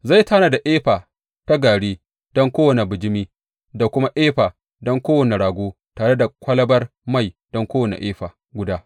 Zai tanada efa na gari don kowane bijimi da kuma efa don kowane rago, tare da kwalabar mai don kowane efa guda.